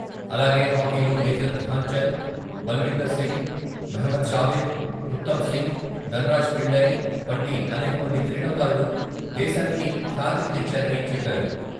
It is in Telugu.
అలాగే హాకీలో మేజర్ ధ్యాన్చంద్, బల్విందర్ సింగ్, మహ్మద్ షాహిద్, ఉత్తం సింగ్, దన్రాజ్ పిళ్లై వంటి అనేక మంది క్రీడాకారులు దేశానికి ఖ్యాతిని తెచ్చారని చెప్పారు.